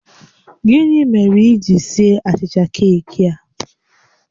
Gịnị mere i ji sie achicha keeki a?